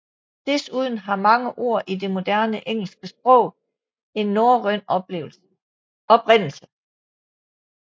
Desuden har mange ord i det moderne engelske sprog en norrøn oprindelse